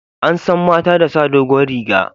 An san mata da sa dogon riga